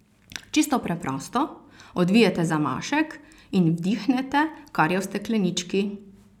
Čisto preprosto, odvijete zamašek in vdihnete, kar je v steklenički.